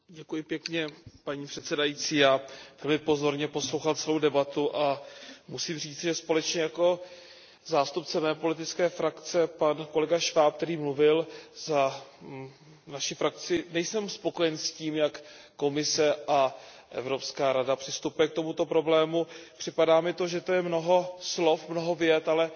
Paní předsedající, já tady pozorně poslouchal celou debatu a musím říci, že společně jako zástupce mé politické frakce, pan kolega Schwab, který mluvil za naši frakci, nejsem spokojen s tím, jak Komise a Evropská rada přistupuje k tomuto problému, připadá mi to, že to je mnoho slov, mnoho vět, ale málo činů.